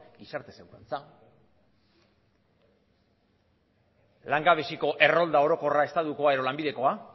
gizarte segurantza langabeziko errolda orokorra estatukoa edo lanbidekoa